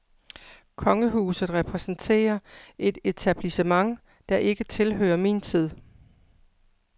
Kongehuset repræsenterer et etablissement, der ikke tilhører min tid.